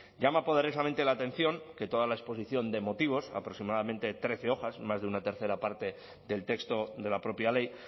llama poderosamente la atención que toda la exposición de motivos aproximadamente trece hojas más de una tercera parte del texto de la propia ley